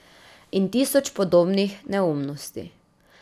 In tisoč podobnih neumnosti.